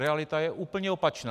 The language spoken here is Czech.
Realita je úplně opačná!